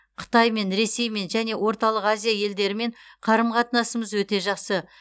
қытаймен ресеймен және орталық азия елдерімен қарым қатынасымыз өте жақсы